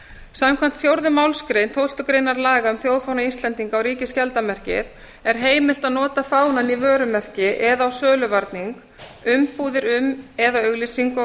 samkvæmt fjórðu málsgrein tólftu greinar laga um þjóðfána íslendinga og ríkisskjaldarmerkið er heimilt að nota fánann í vörumerki eða á söluvarning umbúðir um eða auglýsingu á vöru